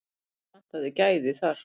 Okkur vantaði gæði þar.